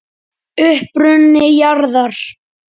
Uppruni jarðar